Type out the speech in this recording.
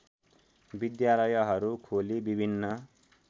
विद्यालयहरू खोली विभिन्न